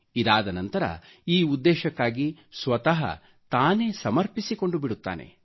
ಇದಾದ ನಂತರ ಈ ಉದ್ದೇಶಕ್ಕಾಗಿ ಸ್ವತಃ ತಾನೆ ಸಮರ್ಪಿಸಿಕೊಂಡು ಬಿಡುತ್ತಾನೆ